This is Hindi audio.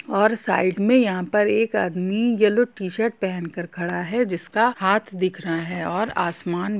और साइड में यहा पर एक आदमी येलो टीशर्ट पहनकर खड़ा है जिसका हाथ दिख रह है और आसमान --